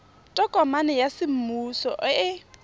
tokomane ya semmuso e e